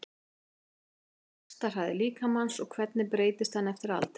Hver er vaxtarhraði líkamans og hvernig breytist hann eftir aldri?